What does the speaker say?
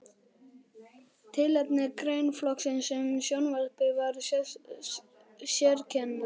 Tilefni greinaflokksins um sjónvarpið var sérkennilegt.